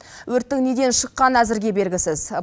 өрттің неден шыққаны әзірге белгісіз